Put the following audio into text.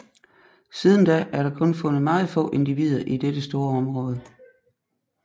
Siden da er der kun fundet meget få individer i dette store område